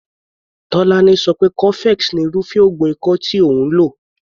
Tolani so pé cofex ni irúfé oògùn ikọ́ tí òun lò.